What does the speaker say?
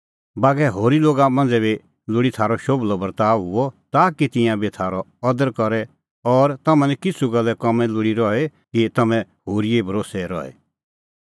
बागै होरी लोगा मांझ़ै बी लोल़ी थारअ शोभलअ बर्ताअ हुअ ताकि तिंयां बी थारअ अदर करे और तम्हां निं किछ़ू गल्ले काम्मी लोल़ी रही कि तम्हैं होरीए भरोस्सै रहे